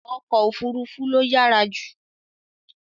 Ọkọ òfuurufú ló yára jù